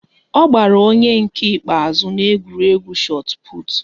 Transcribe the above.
Ọ gbara onye nke ikpeazụ n'egwuregwu chot put